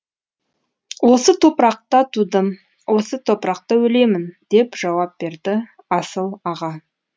осы топырақта тудым осы топырақта өлемін деп жауап берді асыл аға